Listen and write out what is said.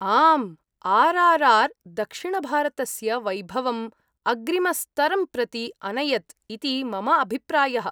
आम्‌, आर्.आर्.आर्. दक्षिणभारतस्य वैभवम् अग्रिमस्तरं प्रति अनयत्‌ इति मम अभिप्रायः।